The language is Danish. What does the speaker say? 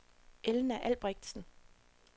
Elna Albrechtsen